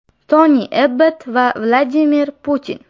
Toni Ebbott va Vladimir Putin.